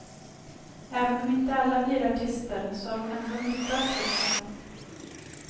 Även om inte alla blir artister så har de ändå nytta av kursen.